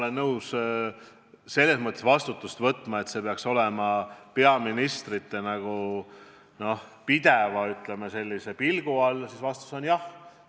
Kui küsida, kas ma olen nõus selles mõttes vastutust võtma, et see projekt oleks peaministrite pideva pilgu all, siis vastus on jah.